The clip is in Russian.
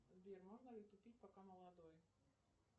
сбер можно ли тупить пока молодой